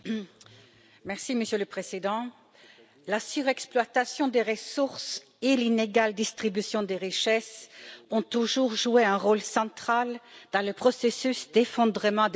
Monsieur le Président, la surexploitation des ressources et l'inégale distribution des richesses ont toujours joué un rôle central dans le processus d'effondrement des civilisations.